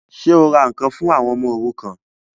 Ṣé o ra ǹkan fún àwọn ọmọ òrukàn?